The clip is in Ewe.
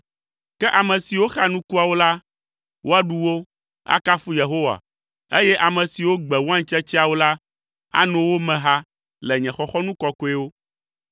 Ke ame siwo xa nukuawo la, woaɖu wo, akafu Yehowa, eye ame siwo gbe waintsetseawo la, ano wo me ha le nye xɔxɔnu kɔkɔewo.”